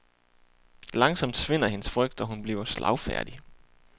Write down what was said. Langsomt svinder hendes frygt, og hun bliver slagfærdig.